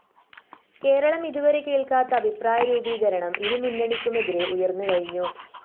കേരളം ഇതുവരെ കേള്‍ക്കാത്ത അഭിപ്രായ രൂപീകരണം ഇരുമുന്നണിക്കുമെതിരെ ഉയര്‍ന്നുകഴിഞ്ഞു